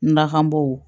N lakanabaaw